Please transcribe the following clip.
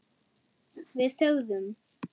Við þögðum.